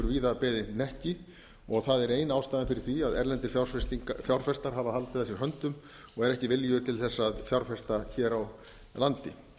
víða beðið hnekki og það er ein ástæðan fyrir því að erlendir fjárfestar hafa haldið að sér höndum og eru ekki viljugir til þess að fjárfesta hér á landi